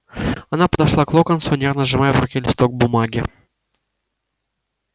она подошла к локонсу нервно сжимая в руке листок бумаги